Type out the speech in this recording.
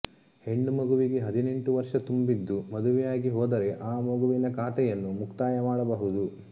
ಹೆಣ್ಣು ಮಗುವಿಗೆ ಹದಿನೆಂಟು ವರ್ಷ ತುಂಬಿದ್ದು ಮದುವೆಯಾಗಿಹೋದರೆ ಆ ಮಗುವಿನ ಖಾತೆಯನ್ನು ಮುಕ್ತಾಯ ಮಾಡಬಹುದು